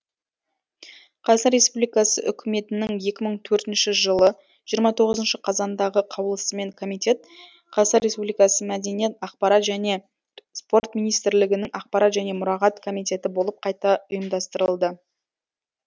қазақстан республикасы үкіметінің екі мың төртінші жылы жиырма тоғызыншы қазандағы қаулысымен комитет қазақстан республикасы мәдениет ақпарат және спорт министрлігінің ақпарат және мұрағат комитеті болып қайта ұйымдастырылды